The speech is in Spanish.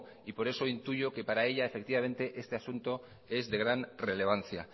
y por eso intuyo que para ella este asunto es de gran relevancia